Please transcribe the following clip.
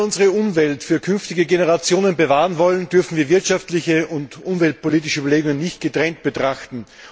Wenn wir unsere Umwelt für künftige Generationen bewahren wollen, dürfen wir wirtschaftliche und umweltpolitische Aspekte nicht getrennt betrachten.